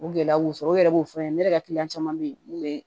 O gɛlɛya y'u sɔrɔ o yɛrɛ b'o fɔ ne yɛrɛ ka kiliyan caman bɛ yen mun bɛ